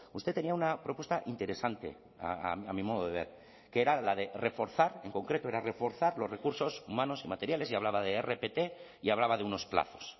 usted tenía una propuesta interesante a mi modo de ver que era la de reforzar en concreto era reforzar los recursos humanos y materiales y hablaba de rpt y hablaba de unos plazos